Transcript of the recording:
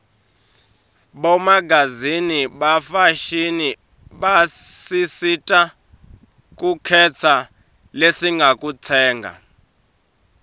bomagazini bafashini basisita kukhetsa lesingakutsenga